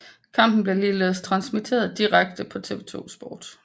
Kampen blev ligeledes transmiteret DIREKTE på TV 2 Sport